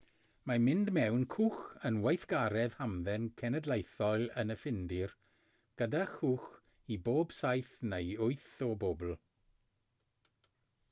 mae mynd mewn cwch yn weithgaredd hamdden cenedlaethol yn y ffindir gyda chwch i bob saith neu wyth o bobl